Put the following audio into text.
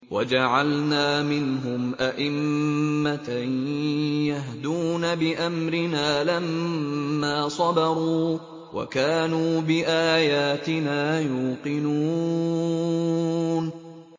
وَجَعَلْنَا مِنْهُمْ أَئِمَّةً يَهْدُونَ بِأَمْرِنَا لَمَّا صَبَرُوا ۖ وَكَانُوا بِآيَاتِنَا يُوقِنُونَ